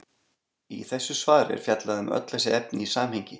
Í þessu svari er fjallað um öll þessi efni í samhengi.